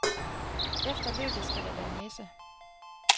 Efter løbet skal der være messe.